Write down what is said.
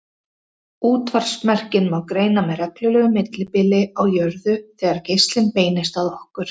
Útvarpsmerkin má greina með reglulegu millibili á jörðu þegar geislinn beinist að okkur.